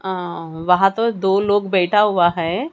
अं वहां तो दो लोग बैठा हुआ है।